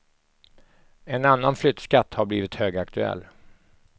En annan flyttskatt har blivit högaktuell.